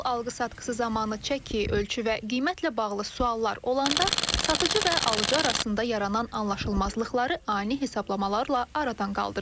Mal alqı-satqısı zamanı çəki, ölçü və qiymətlə bağlı suallar olanda satıcı və alıcı arasında yaranan anlaşılmazlıqları ani hesablamalarla aradan qaldırır.